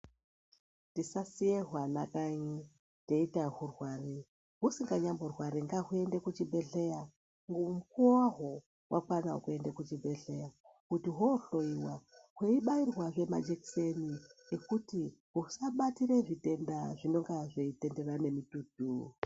Tisasiye hwana kanyi teiti ahwurwari husinganyamborwari ngahuyende kuchibhedhleya mukuwo hwahwo wakwana wekuenda kuchibhedhleya kuti hohloyiwa hweibairwazve majikiseni ekuti husabatire zvitenda zvinenga zveitenderera nemitutu.